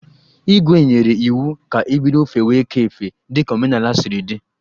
Igwè nyere iwu ka ebido fewe ekè efe dika omenala siri dị.